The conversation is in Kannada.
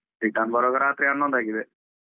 Return ಬರುವಾಗ ರಾತ್ರಿ ಹನ್ನೊಂದು ಆಗಿದೆ.